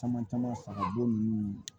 Caman caman fara b'o